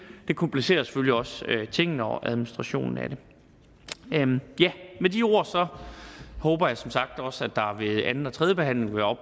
det komplicerer selvfølgelig også tingene og administrationen af det med de ord håber jeg som sagt også at der ved anden og tredje behandling vil